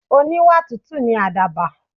Oníwà tútù ni àdàbà.